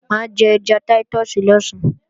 Mà á jẹ ẹja táítọ̀sì lọ̀sán